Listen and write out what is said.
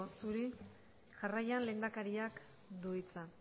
zuri jarraian lehendakariak du hitza